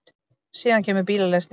Síðan kemur bílalestin.